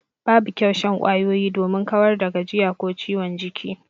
Babu kyau shan kwayoyi domin kawar da gajiya ko ciwon jiki.